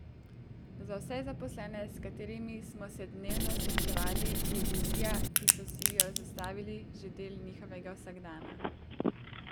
Za vse zaposlene, s katerimi smo se dnevno srečevali, je vizija, ki so si jo zastavili, že del njihovega vsakdana.